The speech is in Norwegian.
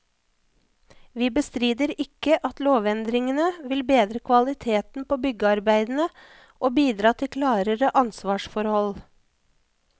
Vi bestrider ikke at lovendringene vil bedre kvaliteten på byggearbeidene og bidra til klarere ansvarsforhold.